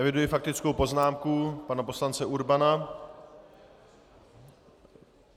Eviduji faktickou poznámku pana poslance Urbana.